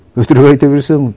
өтірік айта берсең